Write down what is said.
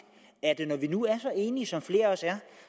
når vi nu er så enige som flere af os er